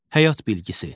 Həyat bilgisi.